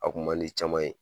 A kun man di caman ye.